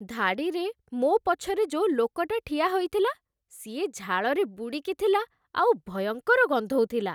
ଧାଡ଼ିରେ ମୋ ପଛରେ ଯୋଉ ଲୋକଟା ଠିଆ ହେଇଥିଲା, ସିଏ ଝାଳରେ ବୁଡ଼ିକି ଥିଲା ଆଉ ଭୟଙ୍କର ଗନ୍ଧଉଥିଲା ।